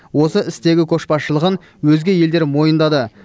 осы істегі көшбасшылығын өзге елдер мойындады